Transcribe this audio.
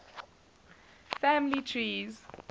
family trees